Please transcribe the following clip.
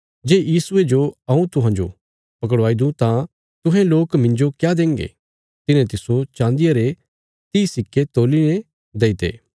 जे यीशुये जो हऊँ तुहांजो पकड़वाई दूँ तां तुहें लोक मिन्जो क्या देंगे तिन्हे तिस्सो चान्दिया रे तीह सिक्के तोल्ली ने देईते